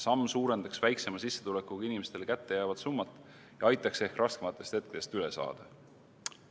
Samm suurendaks väiksema sissetulekuga inimestele kättejäävat summat ja aitaks ehk raskematest hetkedest üle saada.